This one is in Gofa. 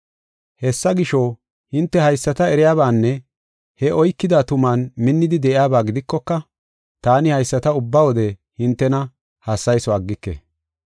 Hessa gisho, hinte haysata eriyabaanne he oykida tuman minnidi de7iyaba gidikoka, taani haysata ubba wode hintena hassayiso aggike.